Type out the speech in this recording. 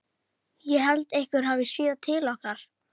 Ég held einhver hafi séð til okkar.